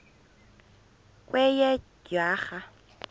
kweyedwarha